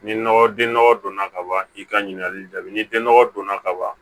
Ni nɔgɔ den nɔgɔ donna kaban i ka ɲininkali jaabi ni den nɔgɔ donna ka ban